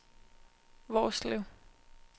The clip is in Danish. Hvorslev